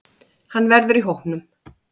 Hann verður í hópnum.